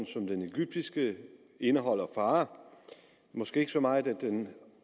som den egyptiske indeholdende fare måske ikke så meget at den